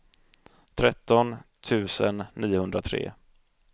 tretton tusen niohundratre